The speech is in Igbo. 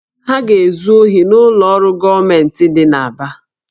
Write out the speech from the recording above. Ha ga-ezu ohi n'ụlọ ọrụ gọọmentị dị n'Aba